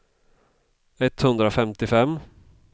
etthundrafemtiofem